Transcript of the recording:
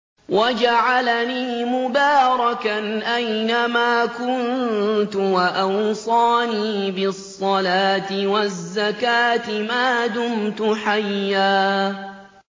وَجَعَلَنِي مُبَارَكًا أَيْنَ مَا كُنتُ وَأَوْصَانِي بِالصَّلَاةِ وَالزَّكَاةِ مَا دُمْتُ حَيًّا